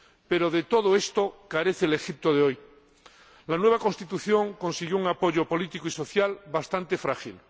Pero de todo esto carece el Egipto de hoy. La nueva Constitución consiguió un apoyo político y social bastante frágil.